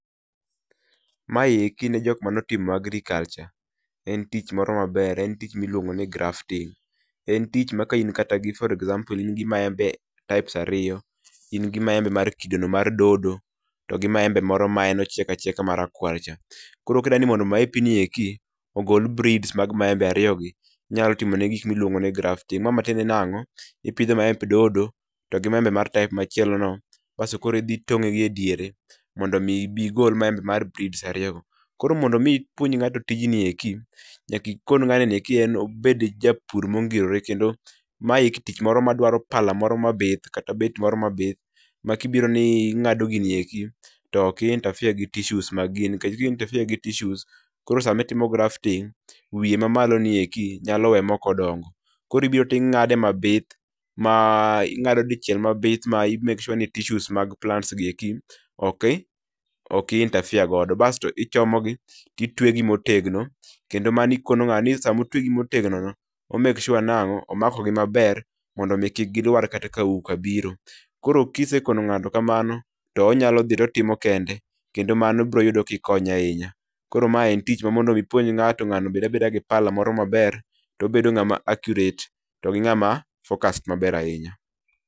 Ma e gin jok mano timo agriculture, en tich moro maber, en tich miluongo ni grafting. En tich ma kain kata gi for example in gi maembe types aiyo, in gi maembe kido mar dodo, to gi maembe moro ma en ochiek achieka mawar cha. Koro ka idwa ni mondo maepi ni eki ogol breeds mag maembe ariyo gi, inyalo timo ne gi gik miluongo ni grafting. Ma matiende nang'o? ipidho maembe dodo to gi maembe type moro machielono. Basto idhi itong'e gi e deiere mondo mi ibi idhi igol maembe mar breeds ariyo go. Koro mondo ibi ipuonj ng'ato tijni eki, nyaka ikon ng'ato ni obed japur moro mongirore kendo maeki tich moro ma dwaro pala moro mabith kata beti moro mabith, ma kibiro ni ing'ado gini eki, to ok i interfere gi tissues, nikech ka i interfere gi tissues koro sami timo grafting, wiye mna malo ni eki, nyalo we mak odongo. Koro ibiro to ing'ade mabith ma ingado dichiel mabith ma i make sure ni tissues[cs[ mag plant ni ok i interefere godo , basto ichomo gi ti twe gi motegno, kendo mano ikono ng'ano ni sa mo twegi motegno, o make sure nang'o? omako gi maber, mondo mi kik gilwar kata ka auka biro. Koro kise kono ngato kamano, to onyalo dhi to otimo kende, kendo mano biroyudo kikonye ahinya. Koro ma en tich ma mondo mi ipuonj ng'ato, nga'no obeda abeda gi pala moro ma ber, to obedo accurate, to gi ng'ama focused maber ahinya.